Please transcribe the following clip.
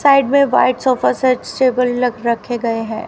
Side में white sofa set table रख रखे गए हैं।